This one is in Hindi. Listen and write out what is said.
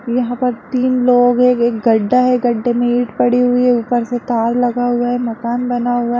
यहां पर तीन लोग हैं एक गड्ढा है गड्ढे में ईट पड़ी हुई है ऊपर से तार लगा हुआ है मकान बना हुआ है।